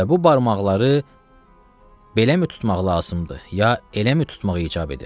Və bu barmaqları beləmi tutmaq lazımdır, ya eləmi tutmaq icab edir.